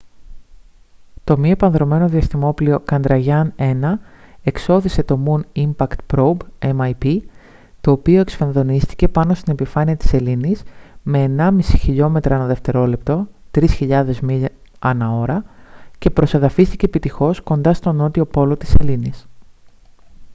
το μη επανδρωμένο διαστημόπλοιο chandrayaan-1 εξώθησε το moon impact probe mip το οποίο εκσφενδονίστηκε πάνω στην επιφάνεια στην σελήνης με 1,5 χιλιόμετρα ανά δευτερόλεπτο 3.000 μίλια ανά ώρα και προσεδαφίστηκε επιτυχώς κοντά στον νότιο πόλο της σελήνης